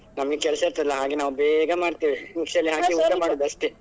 ನಮ್ಗೆ ಕೆಲ್ಸ ಇರ್ತದಲ್ಲ, ಹಾಗೆ ನಾವು ಬೇಗ ಮಾಡ್ತೇವೆ mixiಯಲ್ಲಿ ಹಾಕಿ ಮಾಡುದು ಅಷ್ಟೇ.